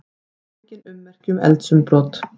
Engin ummerki um eldsumbrot